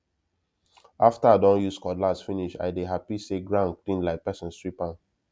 after i don use cutlass finish i dey happy say ground clean like person sweep am